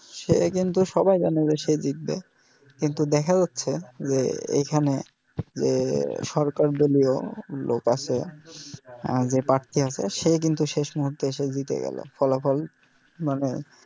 সে কিন্তু সবাই জানে সে জিতবে কিন্তু দেখা যাছে যে এইখানে যে সরকার দলিও লোক আছে যে প্রার্থী আছে সে কিন্তু শেষ মুহূর্তে এসে জিতে গেলো ফলাফল মানে